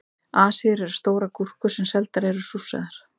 Asíur eru stórar gúrkur sem seldar eru súrsaðar.